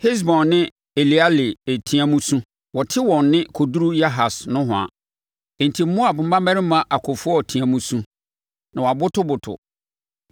Hesbon ne Eleale teaam su, wɔte wɔn nne kɔduru Yahas nohoa. Enti Moab mmarimma akofoɔ teaam su, na wɔabotoboto.